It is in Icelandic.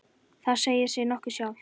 Það segir sig nokkuð sjálft.